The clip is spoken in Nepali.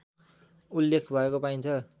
उल्लेख भएको पाइन्छ